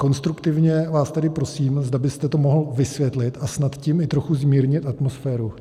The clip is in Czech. Konstruktivně vás tedy prosím, zda byste to mohl vysvětlit a snad tím i trochu zmírnit atmosféru.